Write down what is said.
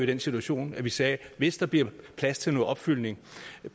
den situation at vi sagde hvis der bliver plads til noget opfyldning